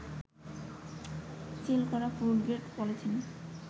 seal করা food grade polythene